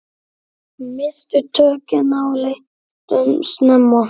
Misstu tökin á leiknum snemma.